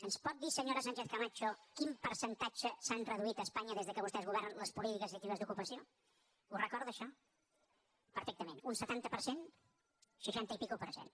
ens pot dir senyora sánchez camacho en quin percentatge s’han reduït a espanya des que vostès governen les polítiques actives d’ocupació ho recorda això perfectament un setanta per cent seixanta i escaig per cent